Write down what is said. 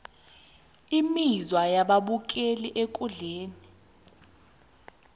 imizwa yababukeli ekundleni